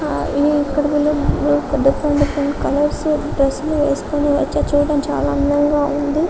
ఆ ఇక్కడ వీళ్లు డిఫరెంట్ డిఫరెంట్ కలర్స్ లో డ్రస్సులు వేసుకొని వచ్చారు చుడానికి అందంగా ఉంది.